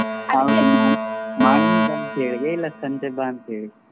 Morning ನಾಳೆ ಬಾ ಅಂತ ಹೇಳಿದಿಯಾ ಇಲ್ಲಾ ಸಂಜೆ ಬಾ ಅಂತ ಹೇಳಿದಿಯಾ?